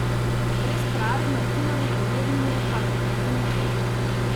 Brez prave martinove pojedine pa pri meni ne gre!